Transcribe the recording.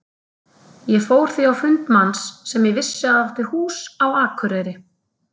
Ég fór því á fund manns sem ég vissi að átti hús á Akureyri.